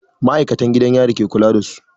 Ma'aikatan gidan yari ke kula da su.